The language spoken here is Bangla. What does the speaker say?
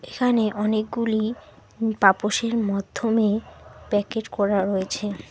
এইখানে অনেকগুলি উম পাপসের মধ্যমে প্যাকেট করা রয়েছে।